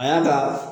A y'a ka